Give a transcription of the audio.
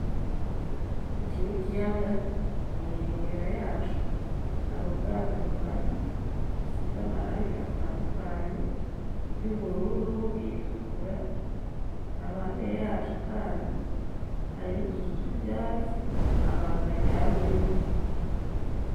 Iki ni ikiyaga kunkengera yaco hari ubwato buhari busize amarangi atandukanye iry'ubururu iritukura aho iruhande yaco kandi hari n'utuzu tw'ibyatsi abantu baryamyemwo.